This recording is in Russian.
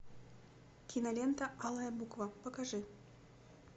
кинолента алая буква покажи